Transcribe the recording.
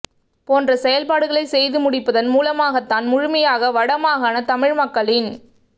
போன்ற செயல்பாடுகளை செய்து முடிப்பதன் மூலமாகத்தான் முழுமையாக வடமாகாண தமிழ் மக்களின்